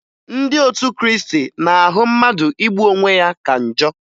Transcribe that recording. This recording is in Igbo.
Ndị otu Kriisti na-ahụ mmadụ igbu onwe ya ka njọ